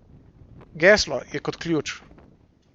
Geslo je kot ključ.